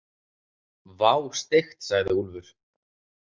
Vá, steikt, sagði Úlfur.